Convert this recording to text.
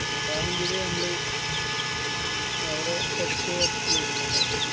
അത് എന്തിന് ഞമ്മള് അവടെ പഠിച്ച് work എയ്യണോല്ലോ